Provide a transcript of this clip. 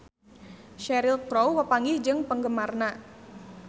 Cheryl Crow papanggih jeung penggemarna